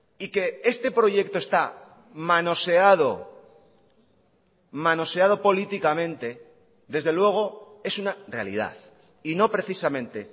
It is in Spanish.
y que este proyecto está manoseado manoseado políticamente desde luego es una realidad y no precisamente